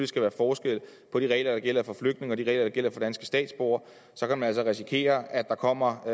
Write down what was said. skal være forskel på de regler der gælder for flygtninge og de regler der gælder for danske statsborgere så kan man altså risikere at der kommer